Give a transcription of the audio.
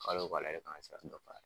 Kalo wo kalo ale de kan ka sira dɔ